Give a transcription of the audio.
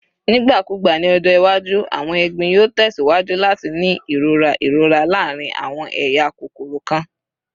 Nigbakugba ni ọjọ iwaju, awọn egbin yoo tẹsiwaju lati ni irora irora laarin awọn eya kokoro kan.